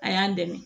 A y'an dɛmɛ